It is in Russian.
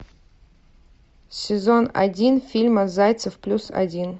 сезон один фильма зайцев плюс один